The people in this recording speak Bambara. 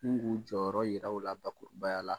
Ni k'u jɔyɔrɔ jira la bakurubaya la.